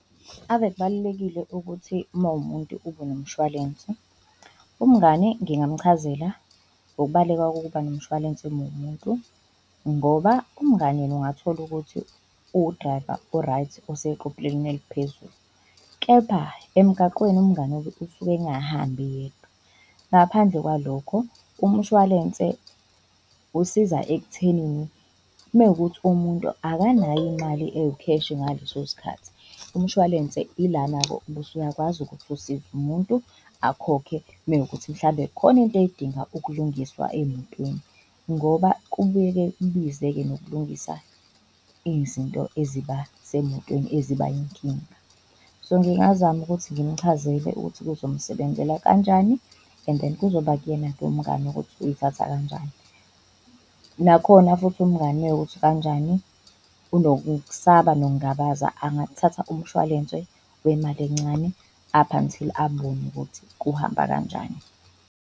Ave kubalulekile ukuthi mawumuntu ubenomshwalensi. Umngane ngingam'chazela ngokubaluleka kokuba nomshwalense uma uwumuntu. Ngoba umngani yena ungatholukuthi uwu-driver o-right oseqophelelweni eliphezulu, kepha emgaqweni umngani usuke engahambi yedwa. Ngaphandle kwalokho, umshwalense usiza ekuthenini uma kuwukuthi umuntu akanayo imali ewukheshi ngaleso sikhathi, umshwalense ilana-ke ubusuyakwazi ukuthi usize umuntu akhokhe mewukuthi mhlawumbe kukhona into edinga ukulungiswa emotweni ngoba kubuye-ke kubize-ke nokulungisa izinto eziba semotweni, eziba yinkinga. So ngingazama ukuthi ngimchazele ukuthi kuzomsebenzela kanjani and then kuzoba kuyena-ke umngani ukuthi uyithatha kanjani. Nakhona futhi umngani mewukuthi kanjani, unokusaba nokungabaza angathatha umshwalense wemali encane, up until abone ukuthi kuhamba kanjani.